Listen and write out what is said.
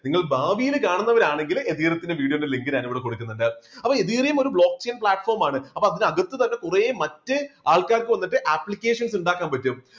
നിങ്ങളും ഭാവിയിൽ കാണുന്നവർ ആണെങ്കിൽ ethereum ത്തിന്റെ video യുടെ link ഞാൻ ഇവിടെ കൊടുക്കുന്നുണ്ട്. അപ്പോ ethereum ഒരു block chain platform മാണ് അതിനകത്ത് തന്നെ കുറേ മറ്റ് ആൾക്കാർക്ക് വന്നിട്ട് applications ഉണ്ടാക്കാൻ പറ്റും.